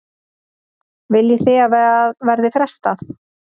Viljið þið að verði frestað?